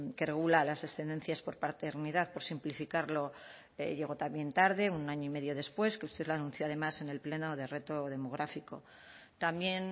que regula las excedencias por paternidad por simplificarlo llegó también tarde un año y medio después que usted lo anuncio además en el pleno de reto demográfico también